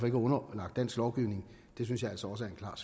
er underlagt dansk lovgivning synes jeg altså også er